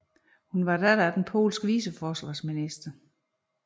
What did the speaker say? Hun var datter af den polske viceforsvarsminister